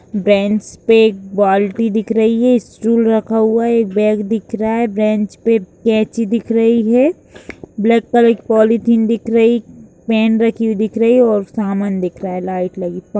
Bench पे एक बाल्टी दिख रही हैं स्टूल रखा हुआ एक बैग दिख रहा है ब्रेन्च पे कैंची दिख रही है ब्लैक कलर की पॉलिथीन दिख रही पेहन रखी हुई दिख रही है और सामान दिख रहा है। लाइट लगी--